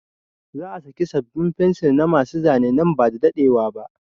Za a saki sabin fencil na ma su Zane nan bada daɗewa ba